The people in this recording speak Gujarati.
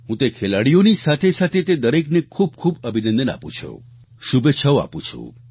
હું તે ખેલાડીઓની સાથે સાથે તે દરેકને ખૂબ ખૂબ અભિનંદન આપુ છું શુભેચ્છાઓ આપું છું